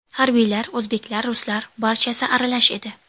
Harbiylar, o‘zbeklar, ruslar, barchasi aralash edi.